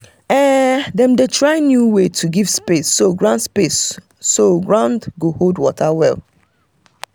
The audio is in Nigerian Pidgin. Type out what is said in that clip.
dem um dey try um new way to give space so ground space so ground go hold water well.